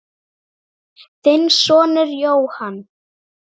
Þinn sonur Jóhann.